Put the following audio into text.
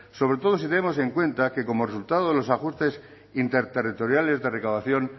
sobre todo si tenemos en cuenta que como resultado de los ajustes interterritoriales de recaudación